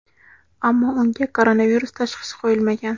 ammo unga koronavirus tashxisi qo‘yilmagan.